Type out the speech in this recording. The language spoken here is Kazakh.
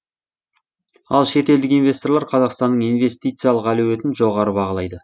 ал шетелдік инвесторлар қазақстанның инвестициялық әлеуетін жоғары бағалайды